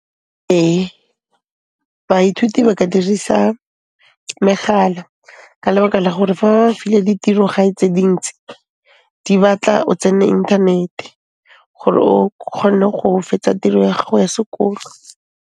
Ee, baithuti ba ka dirisa megala ka lebaka la gore fa ba filwe ditiro-gae tse dintsi, di batla o tsene inthanete gore o kgone go fetsa tiro ya gago ya sekolo.